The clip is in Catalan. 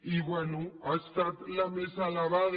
i bé ha estat la més elevada